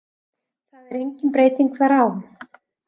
Það er engin breyting þar á.